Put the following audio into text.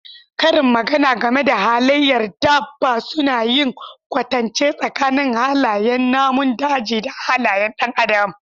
Karin magana game da halayyar dabba suna yin kwatance tsakanin halayen namun daji da halayen ɗan adam.